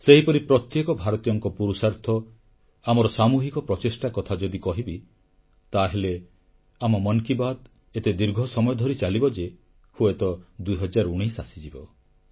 ସେହିପରି ପ୍ରତ୍ୟେକ ଭାରତୀୟଙ୍କ ପୁରୁଷାର୍ଥ ଆମର ସାମୁହିକ ପ୍ରଚେଷ୍ଟା କଥା ଯଦି କହିବି ତାହେଲେ ଆମ ମନ କି ବାତ୍ ଏତେ ଦୀର୍ଘ ସମୟ ଧରି ଚାଲିବ ଯେ ହୁଏତ 2019 ଆସିଯିବ